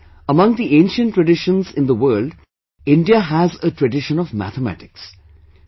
Perhaps, among the ancient traditions in the world India has a tradition of mathematics